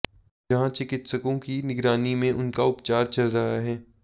जहां चिकित्सकों की निगरानी में उनका उपचार चल रहा है